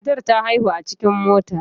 Matar ta haihu a cikin mota.